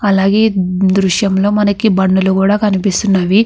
అలాగే దృశ్యంలో మనకి బండులు కూడా కనిపిస్తున్నవి.